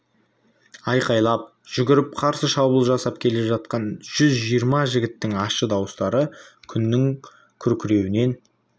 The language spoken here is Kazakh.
айқайлап жүгіріп қарсы шабуыл жасап келе жатқан жүз жиырма жігіттің ащы дауыстары күннің күркіреуінен